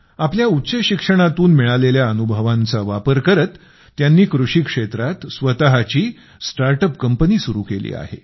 आपल्या उच्चशिक्षणातून मिळालेल्या अनुभवांचा वापर करत त्यांनी कृषीक्षेत्रात स्वतची स्टार्ट अप कंपनी सुरु केली आहे